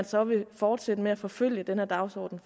så vil fortsætte med at forfølge den her dagsorden